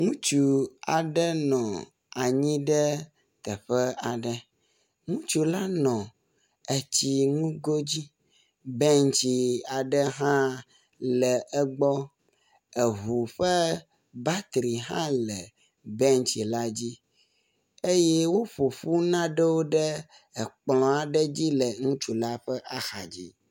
Ŋutsu aɖe nɔ anyi ɖe teƒe aɖe. Ŋutsu la nɔ etsi ŋgo dzi. Bentsi aɖe hã le egbɔ. Eŋu ƒe batri hã le bentsi la dzi eye woƒo ƒu nanewo ɖe kplɔ̃ la dzi le ŋutsu la ƒe axadzi.